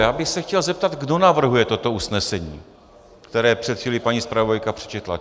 Já bych se chtěl zeptat, kdo navrhuje toto usnesení, které před chvílí paní zpravodajka přečetla.